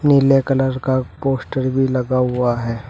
नीले कलर का पोस्टर भी लगा हुआ है।